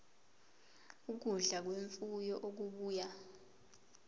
ukudla kwemfuyo okubuya